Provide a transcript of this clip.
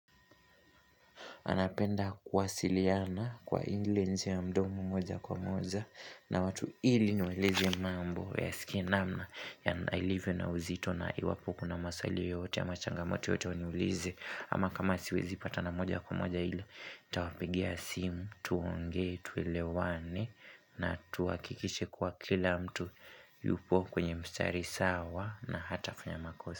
Napenda kuwasiliana kwa ile njia ya mdomo moja kwa moja na watu, ili niwaeleze mambo wayasikie namna yalivyo na uzito na iwapo kuna maswali yoyote ama changamoto yoyote waniulize ama kama siwezi patana moja kwa moja hili nitawapigia simu tuonge, tuelewane na tuhakikishe kuwa kila mtu yupo kwenye mstari sawa na hatafunya makosa.